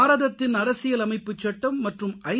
பாரதத்தின் அரசியல் அமைப்புச்சட்டம் மற்றும் ஐ